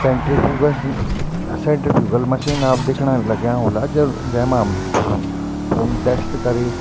centrifugal centrifugal machine आप दिखेणा लग्याँ ह्वोला जन जैमा हम खून टेस्ट करी --